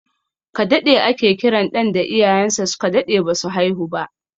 Kaɗaɗe ake kiran ɗan da iyayen sa su ka daɗe ba su haihu ba